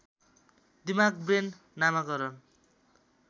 दिमाग ब्रेन नामाकरण